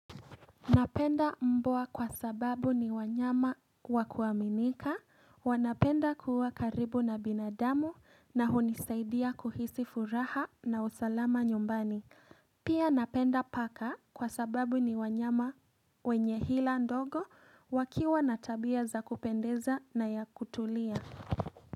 Napenda mbwa kwa sababu ni wanyama wakuaminika, wanapenda kuwa karibu na binadamu na hunisaidia kuhisi furaha na usalama nyumbani. Pia napenda paka kwa sababu ni wanyama wenye hila ndogo wakiwa na tabia zmya kupendeza na ya kutulia.